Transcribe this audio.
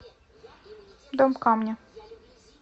дом камня